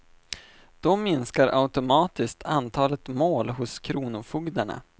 Då minskar automatiskt antalet mål hos kronofogdarna.